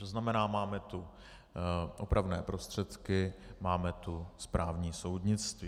To znamená, máme tu opravné prostředky, máme tu správní soudnictví.